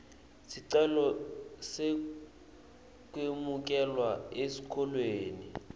sicelo sekwemukelwa esikolweni